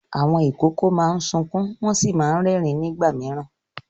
Àwọn ìkókó máa ń sunkún wọ́n sì máa ń rẹ́rìn-ín nígbà mìíràn.